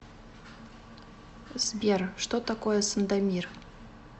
сбер что такое сандомир